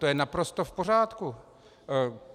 To je naprosto v pořádku.